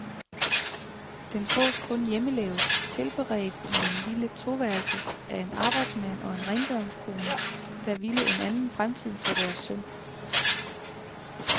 Den fås kun hjemmelavet, tilberedt i en lille to værelses, af en arbejdsmand og en rengøringskone, der ville en anden fremtid for deres søn.